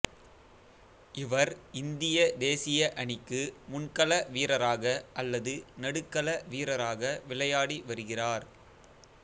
இவர் இந்திய தேசிய அணிக்கு முன்கள வீரராக அல்லது நடுக்கள வீரராக விளையாடி வருகிறார்